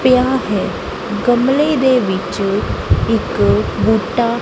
ਪਿਆ ਹੈ ਗਮਲੇ ਦੇ ਵਿੱਚ ਇੱਕ ਬੂਟਾ--